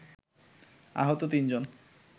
আহত তিনজন